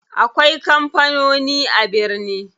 Akwai kampanoni a birni.